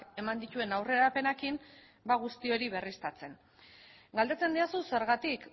eman dituen aurrerapenekin ba guzti hori berriztatzen galdetzen didazu zergatik